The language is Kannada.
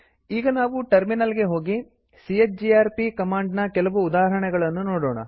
ಈಗ ನಾವು ಟರ್ಮಿನಲ್ ಹೋಗಿ ಚಿಜಿಆರ್ಪಿ ಕಮಾಂಡ್ ನ ಕೆಲವು ಉದಾಹರಣೆಗಳನ್ನು ನೋಡೋಣ